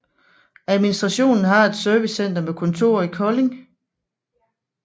Administrationen har et servicecenter med kontor i Kolding